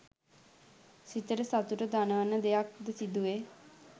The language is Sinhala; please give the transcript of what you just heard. සිතට සතුට දනවන දෙයක් ද සිදුවේ